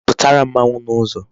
Putara mmanwu n'uzo